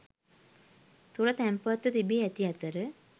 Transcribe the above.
තුළ තැන්පත්ව තිබී ඇති අතර